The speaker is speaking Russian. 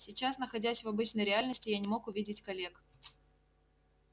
сейчас находясь в обычной реальности я не мог увидеть коллег